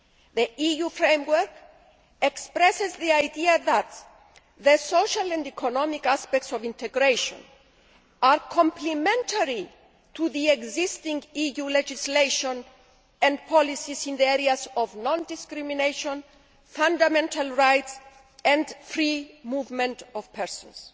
The EU Framework expresses the idea that the social and economic aspects of integration are complementary to the existing EU legislation and policies in the areas of non discrimination, fundamental rights and free movement of persons.